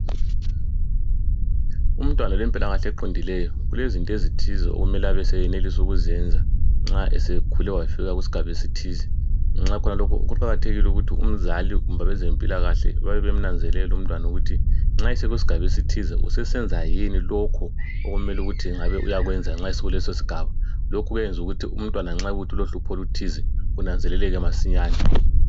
Umntwana olempilakahle eqondileyo ulezinto ezithize okumele ukuthi abe seyenelisa ukuzenza nxa esekhule wafika kusigaba esithize , ngenxa yalokho kuqakathekile ukuthi umzali kumbe abezempilakahle babe bemnanzelela umntwana ukuthi nxa sekusgaba esithize usesenza yini lokho okumele ukuthi ngabe uyakwenza nxa esekulesosgaba , lokhu kuyayenza ukuthi umntwana nxa kuyikuthi ulohlupho oluthize lunanzeleleke masinyane